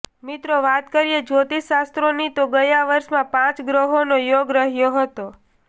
મિત્રો વાત કરીએ જ્યોતિષ શાસ્ત્રોની તો ગયા વર્ષમાં પાંચ ગ્રહોનો યોગ રહ્યો હતો